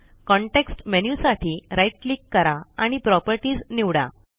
context menu साठी right click करा आणि प्रॉपर्टीज निवडा